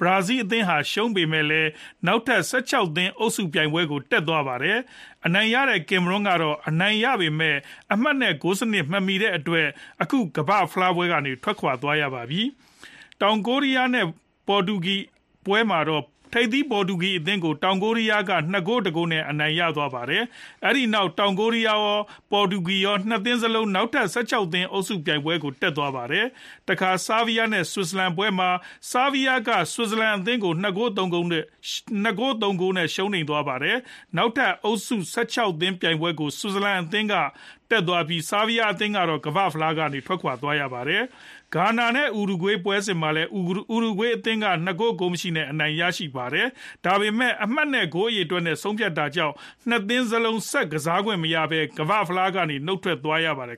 Brazil အသင်းဟာ ရှုံးပေမယ့်လည်း နောက်ထပ် ၁၆ သင်းအုပ်စု ပြိုင်ပွဲကို တက်သွားပါတယ်။ အနိုင်ရတဲ့ Cameroon ကတော့ အနိုင်ရပေမယ့် အမှတ် နဲ့ ဂိုးအရေအတွက် မမီတဲ့အတွက် အခု ကမ္ဘာဖလားပွဲကနေ ထွက်သွားရပါပြီ။ တောင်ကိုရီးယား နဲ့ Portugal ပွဲမှာတော့ ထိပ်သီး ပေါ်တူဂီအသင်းကို တောင်ကိုရီးယားက ၂ ဂိုး တဂိုး နဲ့ အနိုင်ရသွားပါတယ်။ အဲဒီနောက် တောင်ကိုရီးယားကော ၊ ပေါ်တူဂီကော ၂ သင်းလုံးဟာ နောက်ထပ် ၁၆ သင်း အုပ်စုပြိုင်ပွဲကို တက်သွားပါတယ်။ တခါ Serbia နဲ့ Switzerland ပွဲမှာ Serbia က Switzerland အသင်းကို ၂ ဂိုး ၃ ဂိုး နဲ့ ရှုံးနိမ့်သွားပါတယ်။ နောက်ထပ်အုပ်စု ၁၆ သင်းပြိုင်ပွဲကို Switzerland က တက်သွားပြီး Serbia အသင်းကတော့ ကမ္ဘာ့ဖလားကနေ ထွက်သွားရပါပြီ။ Ghana နဲ့ Uruguay ပွဲစဉ်မှာလည်း Uruguay က ၂ ဂိုး ဂိုးမရှိနဲ့ အနိုင်ရသွားပါတယ်။ ဒါပေမဲ့ အမှတ်နဲ့ ဂိုးအရေအတွက်နဲ့ ဆုံးဖြတ်လိုက်တဲ့အတွက်ကြောင့် ၂သင်းစလုံး ဆက်ကစားခွင့်မရတော့ပဲ ကမ္ဘာ့ဖလားပွဲကနေ နုတ်ထွက်သွားရပါတယ်